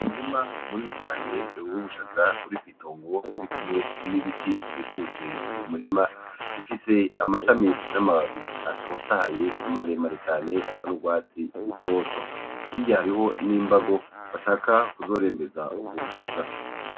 Umurima munini cane w'ubushaza buri mw'itongo ririkumwe n'ibiti bikikuje Uyo murima bifise amashami n'amababi atotahaye maremare cane asa n'ugwatsi rutoto, hirya hariho n'imbago bashaka kuzorembeza ubwo bushaza.